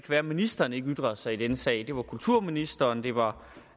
være at ministeren ikke ytrede sig i denne sag det var kulturministeren det var